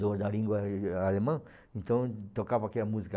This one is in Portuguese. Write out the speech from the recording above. do da língua a alemã, então tocava aquela música.